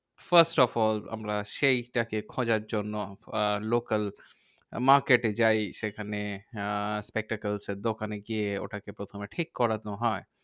First of all আমরা সেইটাকে খোঁজার জন্য আহ local market এ যাই। সেখানে আহ spectacles এর দোকানে গিয়ে ওটাকে প্রথমে ঠিক করানো হয়।